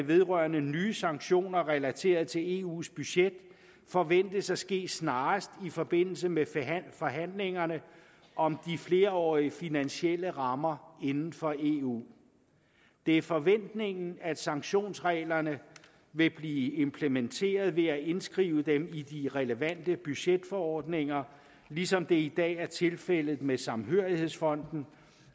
vedrørende nye sanktioner relateret til eus budget forventes at ske snarest i forbindelse med forhandlingerne om de flerårige finansielle rammer inden for eu det er forventningen at sanktionsreglerne vil blive implementeret ved at indskrive dem i de relevante budgetforordninger ligesom det i dag er tilfældet med samhørighedsfonden